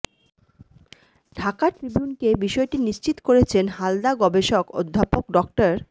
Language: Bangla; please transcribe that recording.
ঢাকা ট্রিবিউনকে বিষয়টি নিশ্চিত করেছেন হালদা গবেষক অধ্যাপক ড